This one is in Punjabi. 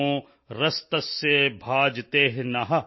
ਸ਼ਿਵਤਮੋ ਰਸ ਤਸਯ ਭਾਜਯਤੇਹ ਨ ਉਸ਼ਤੀਰਿਵ ਮਾਤਰ